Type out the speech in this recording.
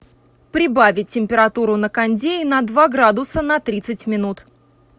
прибавить температуру на кондее на два градуса на тридцать минут